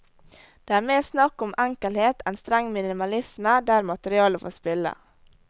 Det er mer snakk om enkelhet enn streng minimalisme, der materialet får spille.